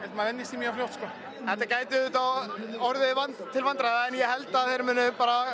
maður venjist þeim mjög fljótt sko þetta gæti auðvitað orðið til vandræða en ég held að þeir muni